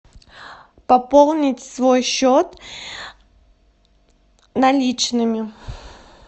пополнить свой счет наличными